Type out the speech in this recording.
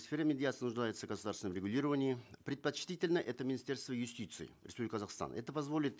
сфера медиации нуждается в государственном регулировании предпочтительно это министерство юстиции республики казахстан это позволит